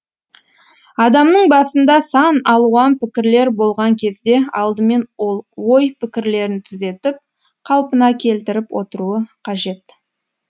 адамның басында сан алуан пікірлер болған кезде алдымен ол ой пікірлерін түзетіп қалпына келтіріп отыруы қажет